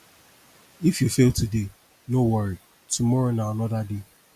if you fail today no worry tomorrow na another day